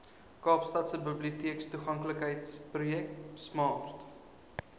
kaapstadse biblioteektoeganklikheidsprojek smart